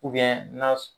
na